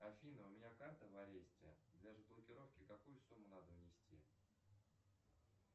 афина у меня карта в аресте для разблокировки какую сумму надо внести